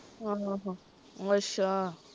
ਆਹੋ ਅੱਛਾ